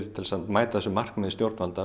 til að mæta markmiðum stjórnvalda